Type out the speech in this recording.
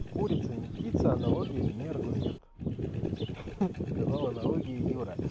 курица не птица аналогия не аргумент ха-ха сказал аналогия юра